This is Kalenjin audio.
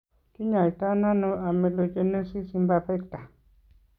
Kiny'aayto nano amelogenesis imperfecta?